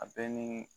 A bɛɛ ni